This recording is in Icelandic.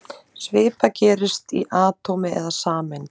Svipað gerist í atómi eða sameind.